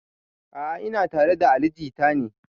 A'a ina tare da ali jita ne